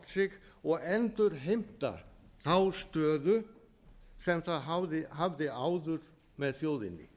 sig og endurheimta þá stöðu sem það hafði áður með þjóðinni